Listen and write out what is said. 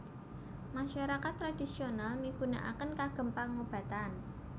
Masyarakat tradhisional migunakaken kagem pangobatan